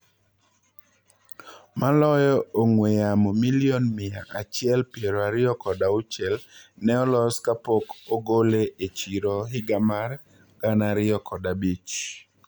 Maloyo ong; wee yamo milion mia achiel piero ariyo kod auchiel ne olos kapok ogole e chiro higa mar gana ariyo kod abich.